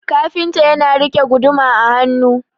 kafinta yana rike guduma a hannu